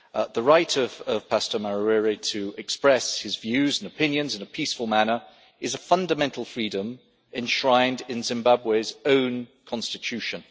The right of Pastor Mawarire to express his views and opinions in a peaceful manner is a fundamental freedom enshrined in Zimbabwe's own Constitution.